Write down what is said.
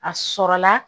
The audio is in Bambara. A sɔrɔla